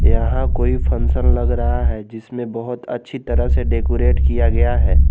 यहां कोई फंक्शन लग रहा है जिसमें बहोत अच्छी तरह से डेकोरेट किया गया है।